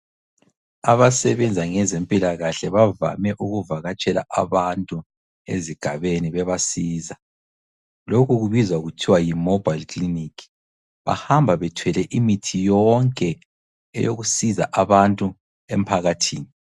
Abasebenza ngezempilakahle bavame ukuvakatshela abantu ezigabeni bebasiza. Lokhu kubizwa kuthiwa yiMobile Clinic. Bahamba bethwele imithi yonke eyokusiza abantu emphakathini.